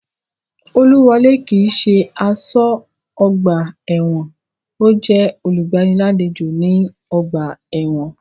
Olúwọlé kii ṣe aṣọ́ ọgbà ẹ̀wọ̀n, ọ́ jẹ́ olùgbàlejò ní ọgbà ẹ̀wọ̀n